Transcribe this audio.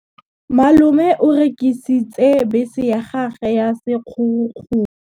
Malome o rekisitse bese ya gagwe ya sekgorokgoro.